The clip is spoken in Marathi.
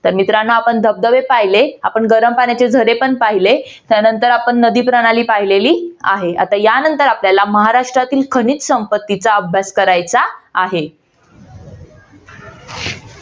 तर मित्रांनो आपण धबधबे पाहिले आपण गरम पाण्याचे झरे पण पाहिले त्यानंतर आपण नदी प्रणाली पाहिलेली आहे. आता यानंतर आपल्याला महाराष्ट्रातील खनिज संपत्तीचा अभ्यास करायचा आहे.